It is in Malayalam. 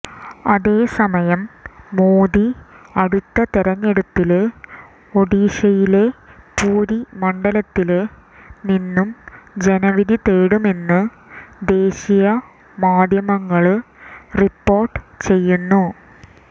അതേസമയം മോദി അടുത്ത തെരഞ്ഞെടുപ്പില് ഒഡീഷയിലെ പുരി മണ്ഡലത്തില് നിന്നും ജനവിധി തേടുമെന്ന് ദേശീയ മാധ്യമങ്ങള് റിപ്പോര്ട്ട് ചെയ്യുന്നു